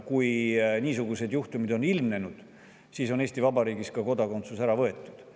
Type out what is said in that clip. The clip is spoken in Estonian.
Kui niisuguseid juhtumeid on ilmnenud, siis on Eesti Vabariigis ka kodakondsus ära võetud.